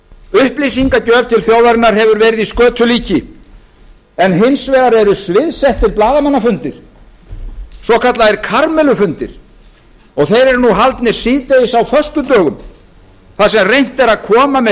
upplýsingagjöf til þjóðarinnar hefur verið í skötulíki en hins vegar eru sviðsettir blaðamannafundir svokallaðir karamellufundir haldnir síðdegis á föstudögum þar sem reynt er að koma með